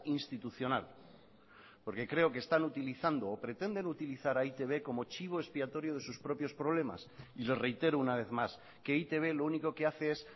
institucional porque creo que están utilizando o pretenden utilizar a e i te be como chivo expiatorio de sus propios problemas y le reitero una vez más que e i te be lo único que hace es